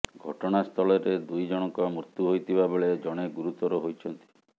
ଘଟଣାସ୍ଥଳରେ ଦୁଇ ଜଣଙ୍କ ମୃତ୍ୟୁ ହୋଇଥିବା ବେଳେ ଜଣେ ଗୁରୁତର ହୋଇଛନ୍ତି